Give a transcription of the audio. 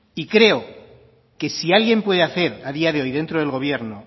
y creo que si alguien puede hacer a día de hoy dentro del gobierno